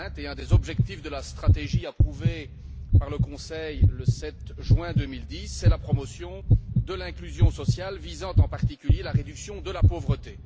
2020. Parmi les objectifs de la stratégie approuvée par le Conseil le 7 juin 2010 figure la promotion de l'inclusion sociale visant en particulier la réduction de la pauvreté.